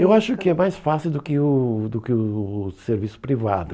Eu acho que é mais fácil do que o do que o o serviço privado.